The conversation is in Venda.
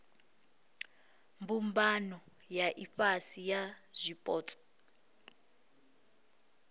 mbumbano ya ifhasi ya zwipotso